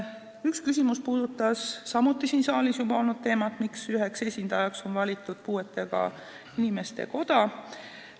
Üks küsimus puudutas samuti siin saalis juba kõne all olnud teemat, miks üheks esindajaks on valitud puuetega inimeste koda.